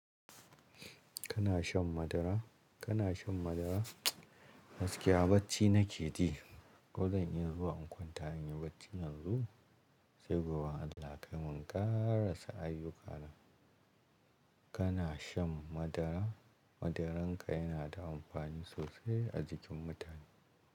Kana shan madara? Kana shan madara? Gaskiya bacci nake ji. Ko zan iya zuwa in kwanta in yi bacci yanzu? Sai gobe in Allah ya kai mu in karasa ayyuka na. Kana shan madara? Madaran ka yana da amfani sosai a jikin mutane.